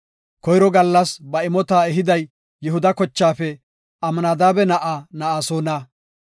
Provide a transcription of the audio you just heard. Koyro gallas ba imota ehiday Yihuda kochaafe Amnadaabe na7aa Na7asoona.